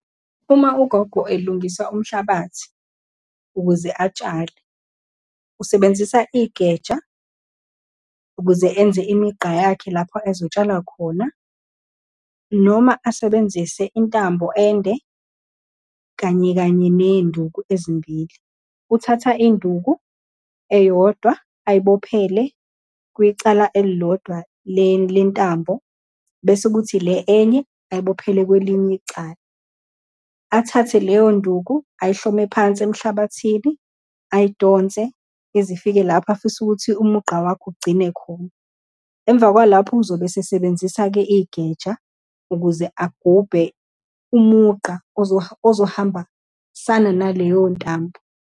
Uma ugogo elungisa umhlabathi ukuze atshale, usebenzisa igeja, ukuze enze imigqa yakhe lapho ezotshala khona, noma asebenzise intambo ende, kanye kanye ney'nduku ezimbili. Uthatha induku eyodwa ayibophele kwicala elilodwa lentambo, bese kuthi le enye ayibophele kwelinye icala. Athathe leyonduku ayihlome phansi emhlabathini, ayidonse izifike lapho afisa ukuthi umugqa wakho ugcine khona. Emva kwalapho uzobe esesebenzisa-ke igeja ukuze agubhe umugqa ozohambasana naleyo ntambo.